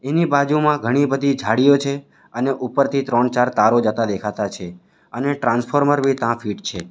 એની બાજુમાં ઘણી બધી ઝાળીઓ છે અને ઉપરથી ત્રણ ચાર તારો જતા દેખાતા છે અને ટ્રાન્સફોર્મર બી તાં ફિટ છે.